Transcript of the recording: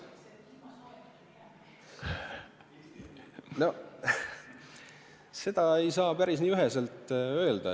Seda ei saa nii üheselt öelda.